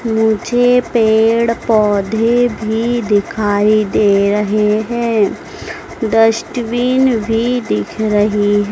मुझे पेड़ पौधे भी दिखाई दे रहे हैं डस्टबिन भी दिख रही--